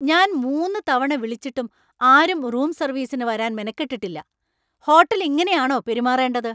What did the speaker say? ഞാൻ മൂന്ന് തവണ വിളിച്ചിട്ടും ആരും റൂം സർവീസിന് വരാൻ മെനക്കെട്ടിട്ടില്ല! ഹോട്ടൽ ഇങ്ങനെയാണോ പെരുമാറേണ്ടത്.